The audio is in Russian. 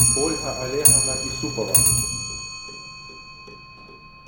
ольга олеговна исупова